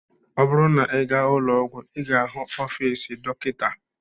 Ọ bụrụ na ị gaa ụlọọgwụ, ị ga-ahụ ọfiisi Dọkịta.